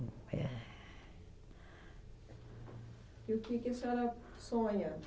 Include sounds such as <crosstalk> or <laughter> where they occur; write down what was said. <sighs> E o que que a senhora sonha?